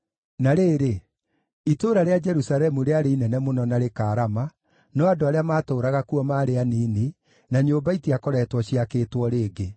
Na rĩrĩ, itũũra rĩa Jerusalemu rĩarĩ inene mũno na rĩkaarama, no andũ arĩa maatũũraga kuo maarĩ anini, na nyũmba itiakoretwo ciakĩtwo rĩngĩ.